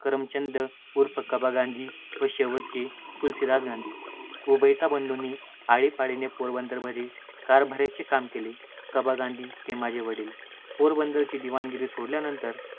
करमचंद उर्फ कबा गांधी व शेवटचे तुलसीदास गांधी. उभयता बंधूंनी आळीपाळीने पोरबंदरमध्ये कारभा-याचे काम केले. कबा गांधी हे माझे वडील. पोरबंदरची दिवाणगिरी सोडल्यानंतर